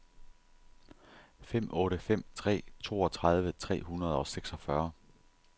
fem otte fem tre toogtredive tre hundrede og seksogfyrre